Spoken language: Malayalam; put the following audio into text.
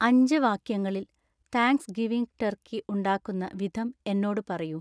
അഞ്ച് വാക്യങ്ങളിൽ താങ്ക്സ്ഗിവിംഗ് ടർക്കി ഉണ്ടാക്കുന്ന വിധം എന്നോട് പറയൂ